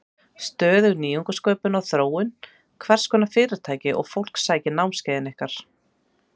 Stöðug nýsköpun og þróun Hverskonar fyrirtæki og fólk sækir námskeiðið ykkar?